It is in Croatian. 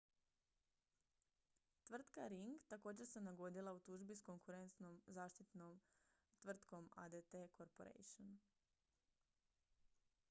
tvrtka ring također se nagodila u tužbi s konkurentskom zaštitarskom tvrtkom adt corporation